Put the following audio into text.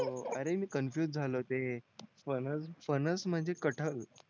हो मी अरे मी कॉन्फुस झालो ते फणस फणस म्हणजे कटहल